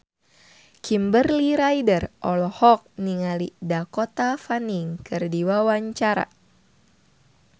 Kimberly Ryder olohok ningali Dakota Fanning keur diwawancara